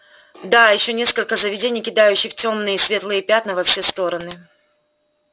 да ещё несколько заведений кидающих тёмные и светлые пятна во все стороны